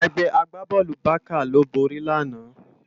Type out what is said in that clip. Ègbè àgbábòlú Bàká ló bóri làná